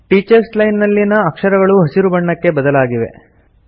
teachers line ನಲ್ಲಿನ ಅಕ್ಷರಗಳು ಹಸಿರು ಬಣ್ಣಕ್ಕೆ ಬದಲಾಗಿವೆ